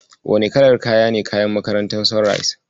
Wane kalar kaya ne kayan makarantar Sunrise?